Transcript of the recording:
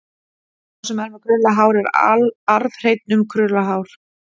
Sá sem er með krullað hár er arfhreinn um krullað hár.